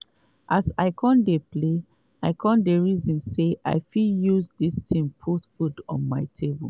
as i kon dey play i kon reason say i fit use dis tin put food on my table